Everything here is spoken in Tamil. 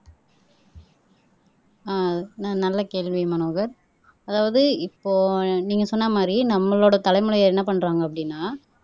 ஆஹ் நான் நல்ல கேள்வி மனோகர் அதாவது இப்போ நீங்க சொன்ன மாதிரி நம்மளோட தலைமுறையை என்ன பண்றாங்க அப்படின்னா